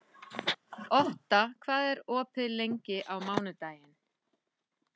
Otta, hvað er opið lengi á mánudaginn?